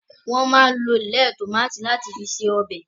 wón má lọ èlé tomatí lati fí ṣe obè.